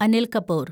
Anil Kapoor